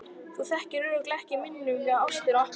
Þú þekkir örugglega ekki muninn á ást og appelsínu.